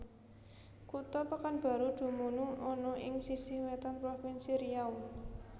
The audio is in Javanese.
Kutha Pekanbaru dumunung ana ing sisih wétan Provinsi Riau